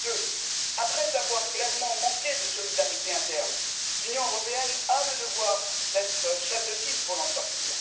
Deuxièmement, après avoir clairement manqué de solidarité interne face à la crise, l'Union européenne a le devoir d'être chef de file pour l'en sortir.